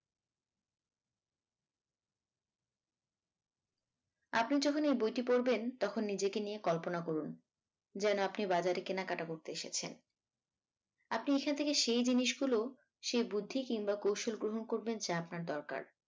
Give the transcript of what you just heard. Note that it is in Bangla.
আপনি যখন এই বইটি পড়বেন তখন নিজেকে নিয়ে কল্পনা করুন যেনো আপনি বাজারে কেনাকাটা করতে এসেছেন আপনি এখান থেকে সেই জিনিস গুলো সেই বুদ্ধি কিংবা কৌশল গ্রহন করবেন যা আপনার দরকার